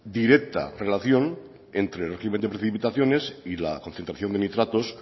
directa relación entre el régimen de precipitaciones y la concentración de nitratos